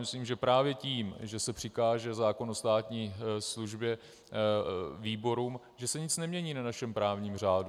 Myslím, že právě tím, že se přikáže zákon o státní službě výborům, se nic nemění na našem právním řádu.